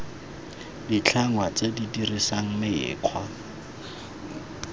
ditlhangwa tse di dirisang mekgwa